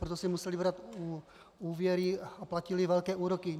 Proto si museli brát úvěry a platili velké úroky.